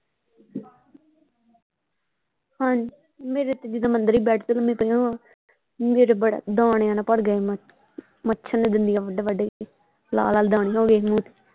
ਹਾਂਜੀ ਮੇਰੇ ਤੇ ਜਿਦਾਂ ਅੰਦਰ ਵੀ ਮੈਂ ਬੈਡ ਤੇ ਲੱਮੀ ਪਈ ਹੋਵਾਂ ਮੇਰੇ ਬੜਾ ਦਾਣਿਆਂ ਨਾਲ ਭਰ ਗਿਆ ਸੀ ਮੱਛਰ ਨੇ ਦੰਦੀਆਂ ਵੱਢ ਵੱਢ ਕੇ ਲਾਲ ਲਾਲ ਦਾਣੇ ਹੋ ਗਏ ਸੀ ਮੂੰਹ ਤੇ।